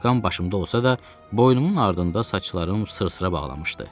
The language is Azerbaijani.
Kepkam başımda olsa da, boynumun ardında saçlarım sırsıra bağlamışdı.